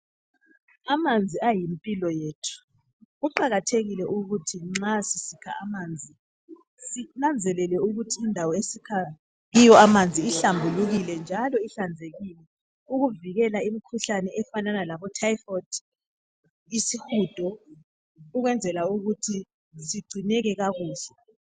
Amanzi ayimpilo yethu kuqakathekile ukuthi nxa sisikha amanzi sinanzelele ukuthi indawo esikha kiyo amanzi ihlambulukile njalo ihlanzekile ukuvikela imikhuhlane efanana labotyphoid, isihudo ukwenzela ukuthi sigcinele kakuhle.